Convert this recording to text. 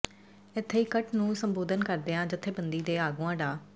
ਇਥੇ ਇਕੱਠ ਨੂੰ ਸੰਬੋਧਨ ਕਰਦਿਆਂ ਜਥੇਬੰਦੀਆਂ ਦੇ ਆਗੂਆਂ ਡਾ